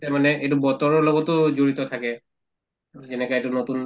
মানে এইটো বতৰৰ লগতো জড়িত থাকে যেনেকা এইটো নতুন